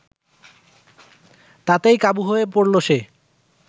তাতেই কাবু হয়ে পড়ল সে